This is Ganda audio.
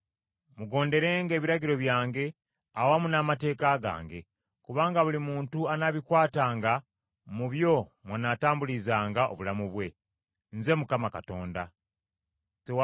Mugonderenga ebiragiro byange awamu n’amateeka gange, kubanga buli muntu anaabikwatanga mu byo mwanaatambulizanga obulamu bwe. Nze Mukama Katonda wammwe.